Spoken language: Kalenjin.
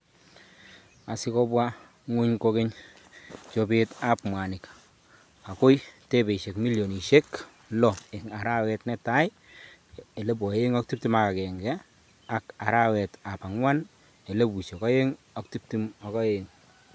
Asigobwaa ng'wuny kokeny chobeet ap mwaanik agoi debeisiek milionisiek lo eng' arawet netai 2021 ak arawet ap ang'wan 2022